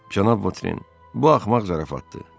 Cənab Voterin, bu axmaq zarafatdır.